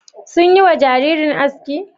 Sun yi wa jaririn aski?